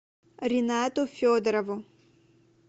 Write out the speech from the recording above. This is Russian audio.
ринату федорову